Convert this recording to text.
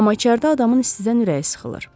Amma içəridə adamın istidən ürəyi sıxılır.